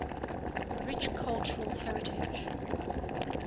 rich cultural heritage